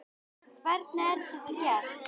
Hvernig er þetta gert?